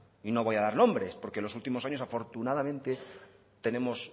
y no voy a dar nombres porque en los últimos años afortunadamente tenemos